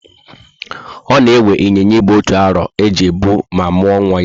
Ona ewe Ịnyịnya Ibu otu arọ e ji bu ma muo nwa ya